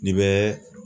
N'i bɛ